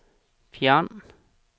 fjern